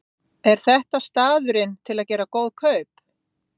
Þórhildur: Er þetta staðurinn til að gera góð kaup?